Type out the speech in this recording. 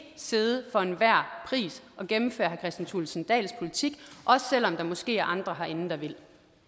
sidde for enhver pris og gennemføre herre kristian thulesen dahls politik også selv om der måske er andre herinde der vil